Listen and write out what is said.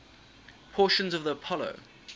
portions of the apollo